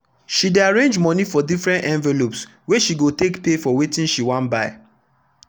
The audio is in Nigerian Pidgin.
she dey arrange money for different envelopeswey she go take pay for wetin she wan buy.